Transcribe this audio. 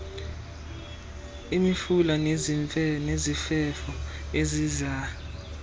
imifula nezifefo eziziza